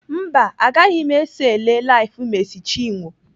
Mba, agaghị m eso ele LIVE Mercy Chinwo.